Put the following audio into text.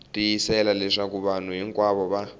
tiyisisa leswaku vanhu hinkwavo va